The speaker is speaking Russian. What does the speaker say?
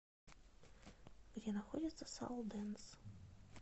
где находится салдэнс